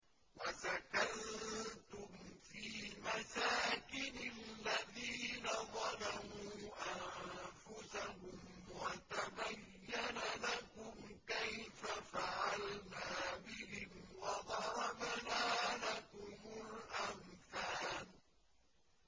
وَسَكَنتُمْ فِي مَسَاكِنِ الَّذِينَ ظَلَمُوا أَنفُسَهُمْ وَتَبَيَّنَ لَكُمْ كَيْفَ فَعَلْنَا بِهِمْ وَضَرَبْنَا لَكُمُ الْأَمْثَالَ